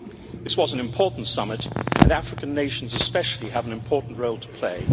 This was an important summit, and African nations especially have an important role to play.